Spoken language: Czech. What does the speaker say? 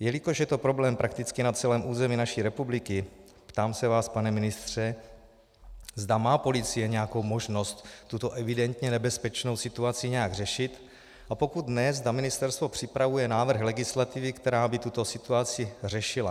Jelikož je to problém prakticky na celém území naší republiky, ptám se vás, pane ministře, zda má policie nějakou možnost tuto evidentně nebezpečnou situaci nějak řešit, a pokud ne, zda ministerstvo připravuje návrh legislativy, která by tuto situaci řešila.